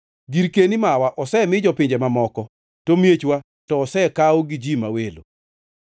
Girkeni mawa osemi jopinje mamoko, to miechwa to osekaw gi ji ma welo.